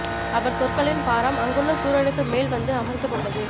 அவர் சொற்களின் பாரம் அங்குள்ள சூழலுக்கு மேல் வந்து அமர்ந்து கொண்டது